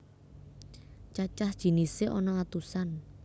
Cacah jinisé ana atusan